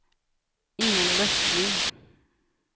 Ingalill Östling